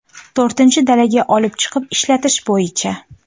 To‘rtinchi dalaga olib chiqib ishlatish bo‘yicha.